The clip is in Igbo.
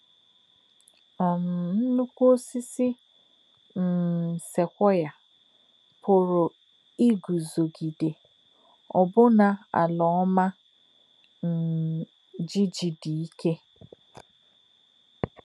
um Nnụ̀kwú̄ òsị̀sì̄ um sequoiā pụ̀rụ́ ígụ̀zò̄gìdè̄ ọ̀bụ̀nà̄ àlà̄ ọ́mà̄ um jí̄jì̄ dì̄ íkè̄.